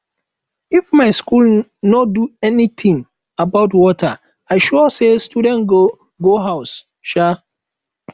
if my school no do anything about water i sure say students go go house um